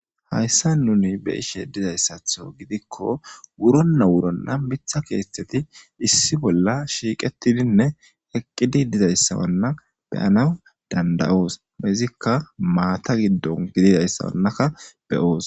Hayssa nuni be ishe dizayssatho gidikko wuronna wuronna mitha keethetheti issi bolla shiiqetidinne eqqidi dizayssawanna beyanaw danda'oos izikka maata giddon gididayssawannaka be'oos.